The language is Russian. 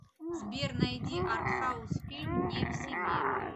сбер найди артхаус фильм не в себе